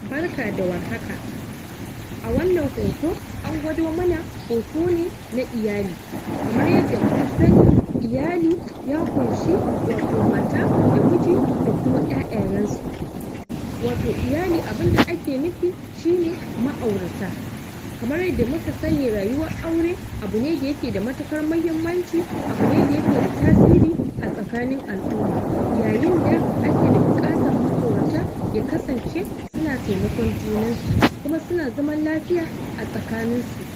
Barka da warhaka a wannan hoto an gwado mana hoto ne na iyali kamar yadda muka sani iyali ya ƙunshi wato mata da miji da kuma ƴaƴayansu wato iyali abinda ake nufi shine ma'aurata kamar yand muka sani rayuwar aure abu ne da yake da matuƙar mahimmanci abu ne da yake da tasiri a tsakanin al'uma yayinda ake da buƙatan ma'aurata ya kasance suna taimakon junansu kuma suna zaman lafiya a tsakaninsu